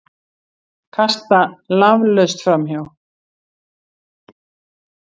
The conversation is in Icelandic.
Kasta laflaust framhjá.